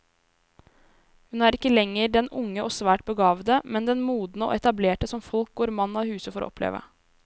Hun er ikke lenger den unge og svært begavede, men den modne og etablerte som folk går mann av huse for å oppleve.